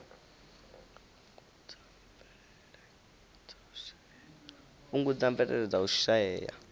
fhungudza mvelele dza u shaea